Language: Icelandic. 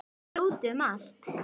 Hún er úti um allt.